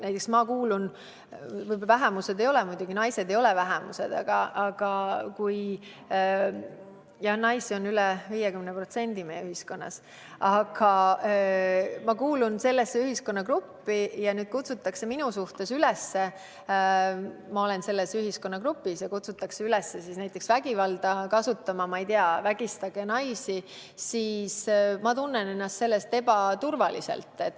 Näiteks mina kuulun sellisesse ühiskonnagruppi nagu naised – naised ei moodusta muidugi vähemust, jah, naisi on meie ühiskonnas üle 50%, aga kui kutsutaks üles minu suhtes vägivalda kasutama, näiteks öeldakse, et vägistage naisi, siis ma tunneksin ennast ebaturvaliselt.